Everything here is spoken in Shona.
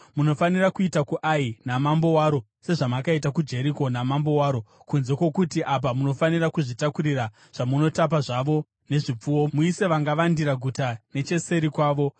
Munofanira kuita kuAi namambo waro sezvamakaita kuJeriko namambo waro, kunze kwokuti apa munofanira kuzvitakurira zvamunotapa zvavo nezvipfuwo. Muise vangavandira guta necheseri kwaro.”